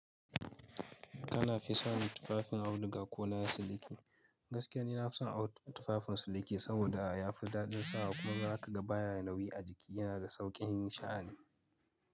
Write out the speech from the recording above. Kana fi son tufafin auduga ko na siliki. Gaskiya ni na fi son tufafin siliki saboda ya fi daɗin sawa kuma za ka ga baya nauyi a jiki. Yana da sauƙin sha'ani.